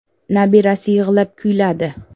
“Nabirasi yig‘lab kuyladi”.